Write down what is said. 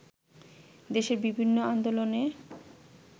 দেশের বিভিন্ন আন্দোলনে